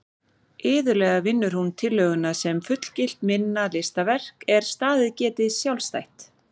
Iðulega vinnur hún tillöguna sem fullgilt minna listaverk er staðið geti sjálfstætt.